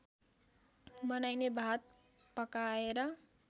बनाइने भात पकाएर